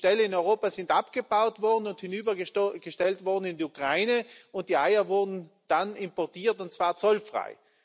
Die Ställe in Europa sind abgebaut worden und hinübergestellt worden in die Ukraine, und die Eier wurden dann importiert, und zwar zollfrei.